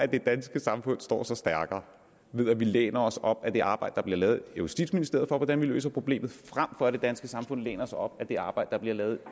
det danske samfund står sig stærkere ved at vi læner os op ad det arbejde der bliver lavet i justitsministeriet med hvordan vi løser problemet frem for at det danske samfund læner sig op ad det arbejde der bliver lavet